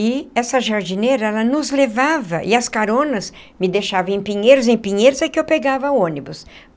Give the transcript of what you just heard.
E essa jardineira, ela nos levava e as caronas me deixava em Pinheiros, em Pinheiros, aí que eu pegava ônibus.